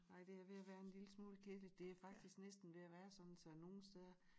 Nej det er ved at være en lille smule kedeligt det er faktisk næsten ved at være sådan så nogen steder